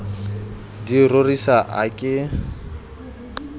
di e rorisa a ke